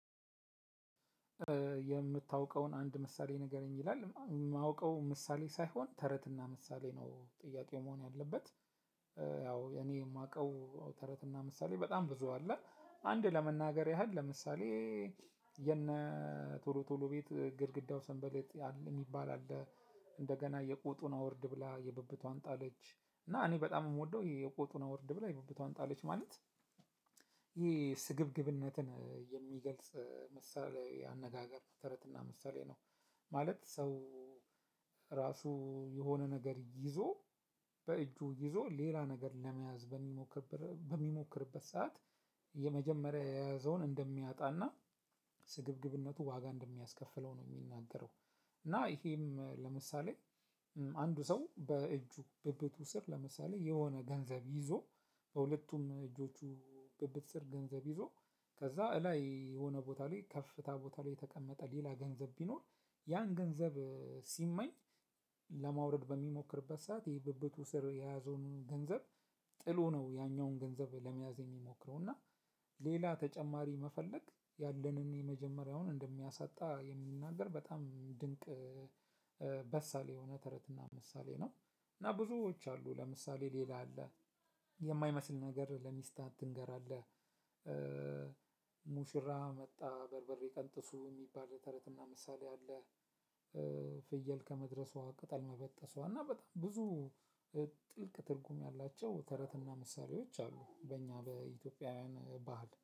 የምታውቀውን አንድ ምሳሌ ንገረኝ ይላል የማውቀው ምሳሌ ሳይሆን ተረትና ምሳሌ ነው ጥያቄው መሆን ያለበት። ያው የኔ የማውቀው ተረትና ምሳሌ በጣም ብዙ አለ አንድ ለመናገር ያህል ለምሳሌ። የነ ቶሎ ቶሎ ቤት ግድግዳው ስንበልጥ የሚባል አለ። እንደገና የቁጡን አውርድ ብላ የብብቷን ጣለች እና እኔ በጣም ነው የምወደው የቁጡን አውርድ ብላ የብብቷን ጣለች ማለት ይሄ ስግብግብነትን የሚገልጽ መሳልያዊ አነጋገር ተረትና ምሳሌ ነው። ማለት ሰው። ራሱ የሆነ ነገር ይዞ በእጁ ይዞ ሌላ ነገር ለመያዝ በሚሞክር በሚሞክርበት ሰዓት የመጀመሪያ የያዘውን እንደሚያጣና ስግብግብነቱ ዋጋ እንደሚያስከፍለው ነው የሚናገረው። እና ይሄም ለምሳሌ። አንዱ ሰው በእጁ ብብቱ ስር ለምሳሌ የሆነ ገንዘብ ይዞ። በሁለቱም እጆቹ ብብት ስር ገንዘብ ይዞ ከዛ እላይ የሆነ ቦታ ላይ ከፍታ ቦታ ላይ የተቀመጠ ሌላ ገንዘብ ቢኖር። ያን ገንዘብ ሲመኝ ለማውረድ በሚሞክርበት ሰዓት የብብቱ ስር የያዘውን ገንዘብ። ጥሎ ነው ያኛውን ገንዘብ ለመያዝ የሚሞክረው እና ሌላ ተጨማሪ መፈለግ ያለንን የመጀመሪያውን እንደሚያሳጣ የሚናገር በጣም ድንቅ በሳል የሆነ ተረትና ምሳሌ ነው። እና ብዙዎች አሉ ለምሳሌ ሌላ። አለ ነገር ለሚስትህ አትንገር አለ። ሙሽራ መጣ በርበሬ ቀንጥሱ የሚባል ተረትና ምሳሌ አለ። ፍየል ከመድረሷ ቅጠል መበጠሷ እና በጣም ብዙ ጥልቅ ትርጉም ያላቸው ተረትና ምሳሌዎች አሉ። በእኛ በኢትዮጵያውያን ባህል